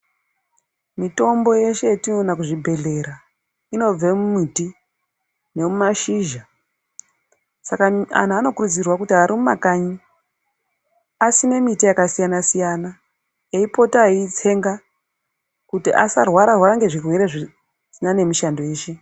Mitombo yeshe yatona kuzvibhedhlera, inobve mumuti, nemumashizha. Saka anhu vanokurudzirwa kuri arimumakanyi asime miti yakasiyana siyana, eyipota eyitsenga kuti asarwara rwara ngezvigwere zvirisinanemishando yeshe.